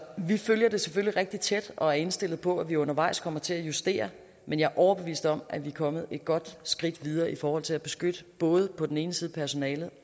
vi følger det selvfølgelig rigtig tæt og er indstillet på at vi undervejs kommer til at justere men jeg er overbevist om at vi er kommet et godt skridt videre i forhold til at beskytte på den ene side personalet